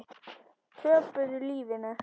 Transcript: Töpuðu lífinu.